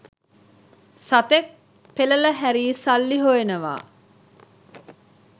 සතෙක් පෙලල හරි සල්ලි හොයනවා.